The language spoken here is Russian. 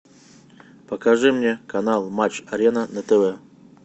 покажи мне канал матч арена на тв